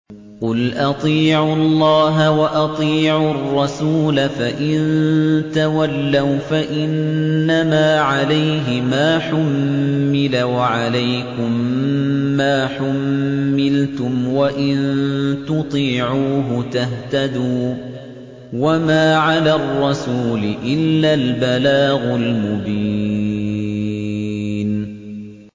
قُلْ أَطِيعُوا اللَّهَ وَأَطِيعُوا الرَّسُولَ ۖ فَإِن تَوَلَّوْا فَإِنَّمَا عَلَيْهِ مَا حُمِّلَ وَعَلَيْكُم مَّا حُمِّلْتُمْ ۖ وَإِن تُطِيعُوهُ تَهْتَدُوا ۚ وَمَا عَلَى الرَّسُولِ إِلَّا الْبَلَاغُ الْمُبِينُ